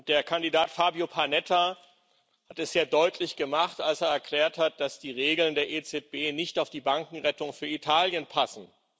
Der Kandidat Fabio Panetta hat es ja deutlich gemacht, als er erklärt hat, dass die Regeln der EZB nicht auf die Bankenrettung für Italien passen.